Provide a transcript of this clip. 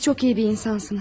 Siz çox iyi bir insansınız.